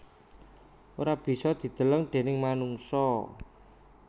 Ora bisa dideleng déning manungsa